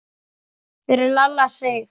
Fyrir Lalla Sig.